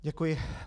Děkuji.